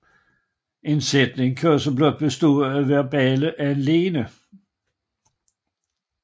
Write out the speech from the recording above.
En sætning kan også blot bestå af et verballed alene